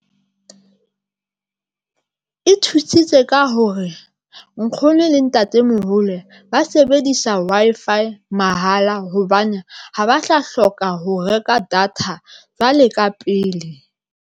E thusitse ka hore nkgono le ntatemoholo ba sebedisa Wi-Fi mahala hobane ha ba tla hloka ho reka data jwale ka pele.